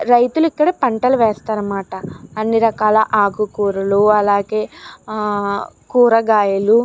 రైతులు ఇక్కడ పంటలు వేస్తారన్న మాట అన్ని రకాల ఆకూ కూరలు అలాగే ఆ కూరగాయలు